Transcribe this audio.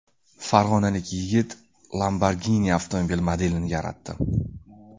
Farg‘onalik yigit Lamborghini avtomobili modelini yaratdi .